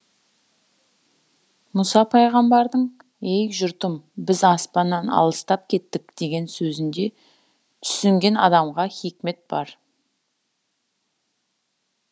мұса пайғамбардың ей жұртым біз аспаннан алыстап кеттік деген сөзінде түсінген адамға хикмет бар